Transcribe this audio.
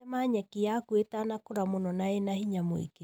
Tema nyeki yaku ĩtanakũra mũno na ĩna hinya mũingĩ